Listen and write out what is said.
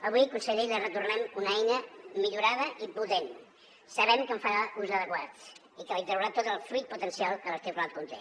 avui conseller li retornem una eina millorada i potent sabem que en farà ús adequat i que li traurà tot el fruit potencial que l’articulat conté